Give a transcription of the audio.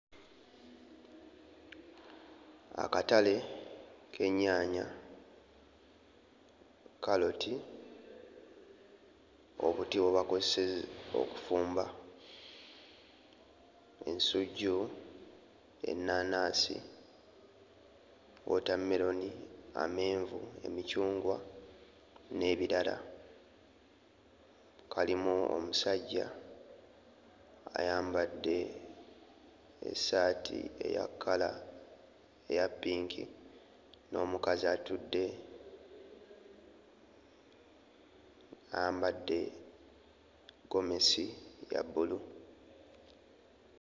Akatale k'ennyaanya, kkaloti, obuti bwe bakozesa okufumba, ensujju, ennaanansi, wootammeroni, amenvu, emicungwa n'ebirala. Kalimu omusajja ayambadde essaati eya kkala eya pinki n'omukazi atudde ayambadde ggomesi ya bbulu.